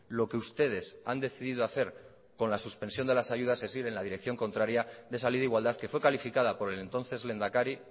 lo que ustedes han decidido hacer con la suspensión de las ayudas es ir en la dirección contraria de esa ley de igualdad que fue calificada por ele entonces lehendakari